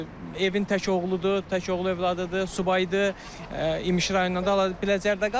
Evin tək oğludur, tək oğlu övladıdır, subaydır, İmişli rayonundan Bələcərdə qalır.